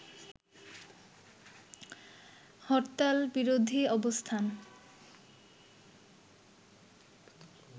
হরতালবিরোধী অবস্থান